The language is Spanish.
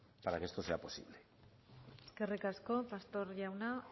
para que esto sea posible eskerrik asko pastor jauna